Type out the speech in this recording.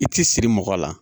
I tɛ siri mɔgɔ la